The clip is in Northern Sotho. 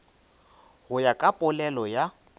go ya ka polelo ya